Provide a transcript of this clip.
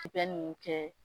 Tigɛ nunnu kɛ